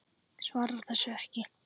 Svarar þessu ekki.